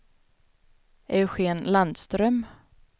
Eugén Landström